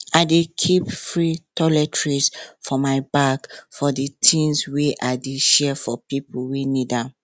i dey keep free toiletries for my bag for di things wey i dey share for pipo wey need am